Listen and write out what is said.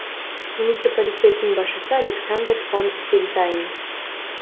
муниципалитеттің басшысы александер фон фельтайм